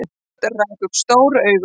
Örn rak upp stór augu.